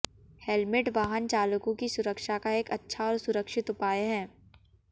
helmet वाहन चालकों की सुरक्षा का एक अच्छा और सुरक्षित उपाय है